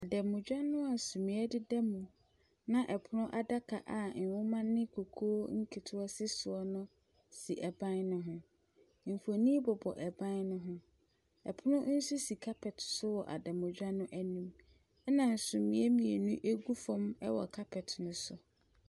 Dɛmdwa noa sumiɛ de da mu na ɛpono adaka a nneɛma ne kukuo nketewa si soɔ no si ɛban ne ho. Nfonni bobɔ ɛban ne ho. Ɛpono nso si carpet so wɔ adanmudwa n'anim ɛna sumiɛ mmienu egu fam ɛwɔ carpet no so.